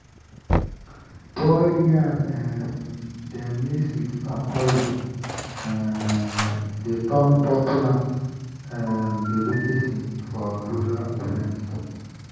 boiled yam um dem mix with palm oil um dey turn popular um delicacy for rural events.